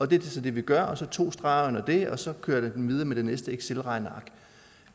det er så det vi gør og så to streger under det og så kører vi videre med det næste excelregneark